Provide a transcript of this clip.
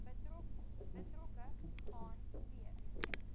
betrokke gaan wees